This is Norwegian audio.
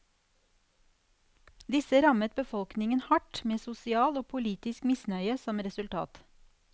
Disse rammet befolkningen hardt, med sosial og politisk misnøye som resultat.